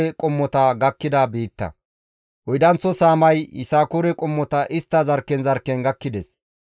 Oydanththo saamay Yisakoore qommota istta zarkken zarkken gakkides.